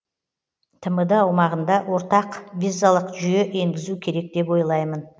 тмд аумағында ортақ визалық жүйе енгізу керек деп ойлаймын